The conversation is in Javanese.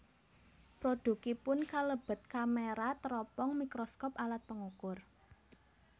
Produkipun kalebet kamera teropong mikroskop alat pengukur